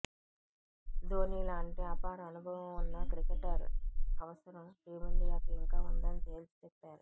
ధోనీ లాంటి అపారఅనుభవం ఉన్న క్రికెటర్ అవసరం టీమిండియాకు ఇంకా ఉందని తేల్చి చెప్పారు